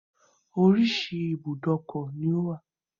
Orísìí ibùdókọ̀ ni ó wà